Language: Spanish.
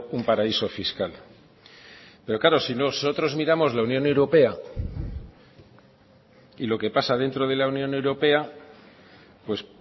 un paraíso fiscal pero claro si nosotros miramos la unión europea y lo que pasa dentro de la unión europea pues